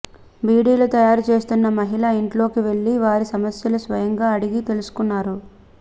బీడీలు తయారుచేస్తున్న మహిళల ఇంట్లోకి వెళ్లి వారి సమస్యలు స్వయంగా అడిగి తెలుసుకున్నారు